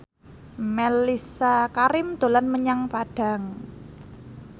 Mellisa Karim dolan menyang Padang